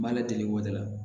N b'a ladege wɔda la